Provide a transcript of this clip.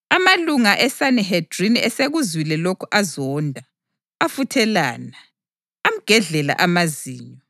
Amalunga eSanihedrini esekuzwile lokhu azonda, afuthelana, amgedlela amazinyo.